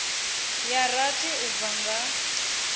ya rathi u bva nga